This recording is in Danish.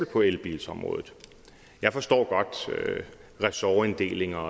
på elbilsområdet jeg forstår godt ressortinddelinger